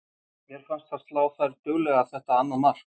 Mér fannst það slá þær duglega þetta annað mark.